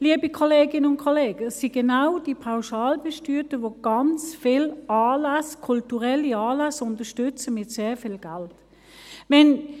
Liebe Kolleginnen und Kollegen, es sind genau die Pauschalbesteuerten, welche ganz viele Anlässe, kulturelle Anlässe, mit sehr viel Geld unterstützen.